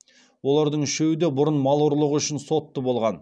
олардың үшеуі де бұрын мал ұрлығы үшін сотты болған